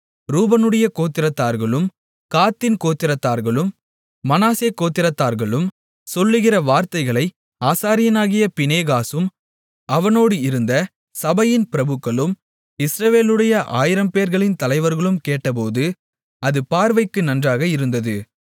ரூபனுடைய கோத்திரத்தார்களும் காத்தின் கோத்திரத்தார்களும் மனாசே கோத்திரத்தார்களும் சொல்லுகிற வார்த்தைகளை ஆசாரியனாகிய பினெகாசும் அவனோடு இருந்த சபையின் பிரபுக்களும் இஸ்ரவேலுடைய ஆயிரம்பேர்களின் தலைவர்களும் கேட்டபோது அது பார்வைக்கு நன்றாக இருந்தது